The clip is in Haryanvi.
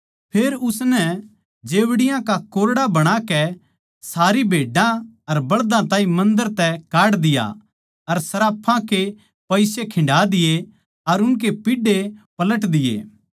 फेर उसनै जेवड़ियां का कोरड़ा बणाकै सारी भेड्डां अर बळदा ताहीं मन्दर तै काढ दिया अर सर्राफां के पिसे खिन्डा दिए अर उनके पीढ़े पलट दिए